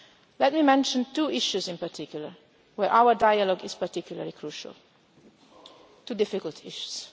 Let me mention two issues in particular, on which our dialogue is particularly crucial, two difficult issues.